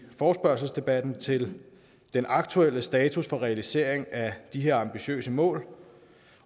forespørgselsdebatten til den aktuelle status for realisering af de her ambitiøse mål